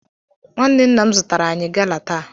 Nwanne nna m zụtara anyị gala taa